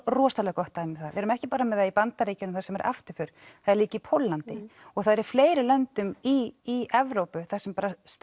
rosalega gott dæmi um það við erum ekki bara með það í Bandaríkjunum sem er afturför það er líka í Póllandi það er í fleiri löndum í Evrópu þar sem